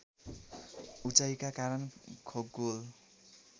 उचाइका कारण खगोल